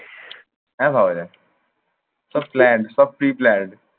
হ্যাঁ ভাবা যায়। সব planned সব preplanned